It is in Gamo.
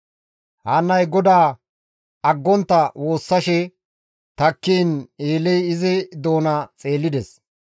Haannay GODAA aggontta woossashe takkiin Eeley izi doona xeellides.